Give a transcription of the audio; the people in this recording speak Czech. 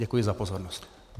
Děkuji za pozornost.